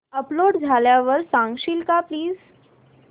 upload झाल्यावर सांगशील का प्लीज